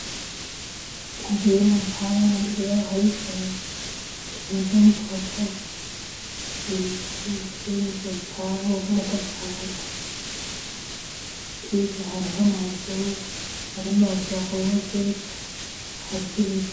Inzu iri mu rupangu, imbere yaho hari ikintu kimeza nk'ipoto, ibiti imbere y'inzu, urupango rw'amatafari, hirya hariho amazu arimwo amabati ya ruje, hariho ibiti.